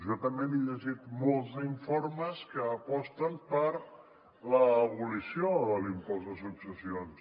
jo també m’he llegit molts d’informes que aposten per l’abolició de l’impost de successions